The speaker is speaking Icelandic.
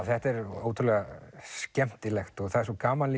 þetta er ótrúlega skemmtilegt og það er svo gaman